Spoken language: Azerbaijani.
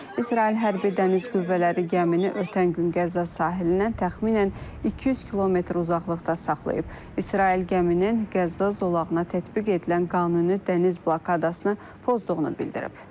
İsrail hərbi dəniz qüvvələri gəmini ötən gün Qəzza sahilindən təxminən 200 km uzaqlıqda saxlayıb. İsrail gəminin Qəzza zolağına tətbiq edilən qanuni dəniz blokadasını pozduğunu bildirib.